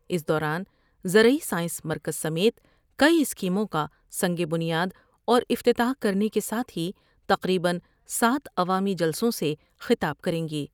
اس دوران زرعی سائنس مرکز سمیت کئی اسکیموں کا سنگ بنیاد اور افتتاح کرنے کے ساتھ ہی تقریبا سات عوامی جلسوں سے خطاب کریں گی ۔